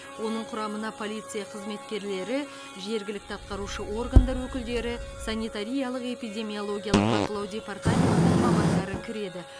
оның құрамына полиция қызметкерлері жергілікті атқарушы органдардың өкілдері санитариялық эпидемиологиялық бақылау департаментінің мамандары кіреді